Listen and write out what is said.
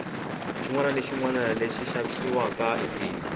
xinwana na xinwana lexi xavisiwaka i bindzu